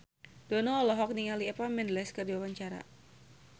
Dono olohok ningali Eva Mendes keur diwawancara